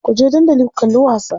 Kuje dandali ku kalli wasa.